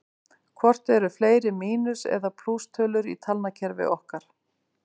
Hvort eru fleiri mínus- eða plústölur í talnakerfi okkar?